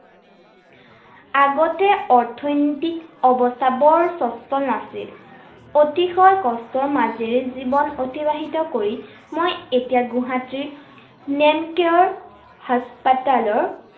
আগতে অৰ্থনৈতিক অৱস্থা বৰ স্বচ্চল নাছিল। অতিশয় কষ্টৰ মাজেৰে জীৱন অতিবাহিত কৰি মই এতিয়া গুৱাহাটীৰ নেমকেয়াৰ হাস্পতালৰ